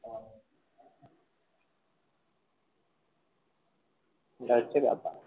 এটা হচ্ছে ব্যাপার।